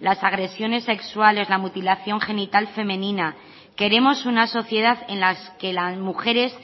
las agresiones sexuales la mutilación genital femenina queremos una sociedad en las que las mujeres